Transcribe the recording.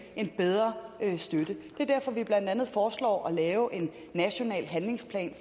en bedre støtte det er derfor vi blandt andet foreslår at lave en national handlingsplan